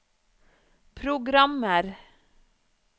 programmer